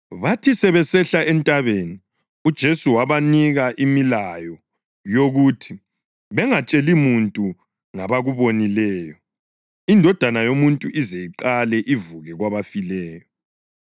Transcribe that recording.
Bathi sebesehla entabeni uJesu wabanika imilayo yokuthi bangatsheli muntu ngabakubonileyo iNdodana yoMuntu ize iqale ivuke kwabafileyo.